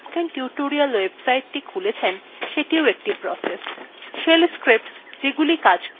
shell scripts যেগুলি কাজ করছে সেগুলিও processes